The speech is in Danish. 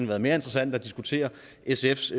været mere interessant at diskutere sfs